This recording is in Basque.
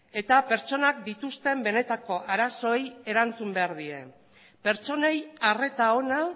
eta pertsonak dituzten benetako arazoei erantzun behar die pertsonei arreta ona